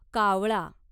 कावळा